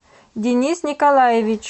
денис николаевич